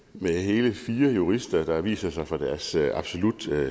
med hele fire jurister der viser sig fra deres absolut